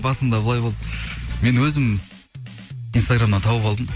басында былай болды мен өзім инстаграмнан тауып алдым